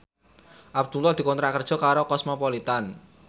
Abdullah dikontrak kerja karo Cosmopolitan